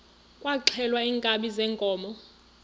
kwaxhelwa iinkabi zeenkomo